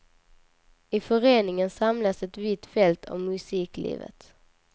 I föreningen samlas ett vitt fält av musiklivet.